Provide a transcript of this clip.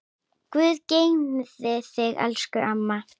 Guð geymi þig, elsku amma.